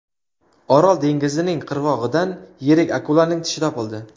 Orol dengizining qirg‘og‘idan yirik akulaning tishi topildi.